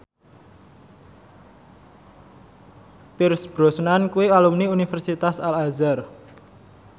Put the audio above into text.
Pierce Brosnan kuwi alumni Universitas Al Azhar